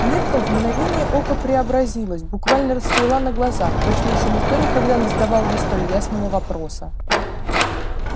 миртл в мгновение ока преобразилась буквально расцвела на глазах точно ещё никто никогда не задавал ей столь лестного вопроса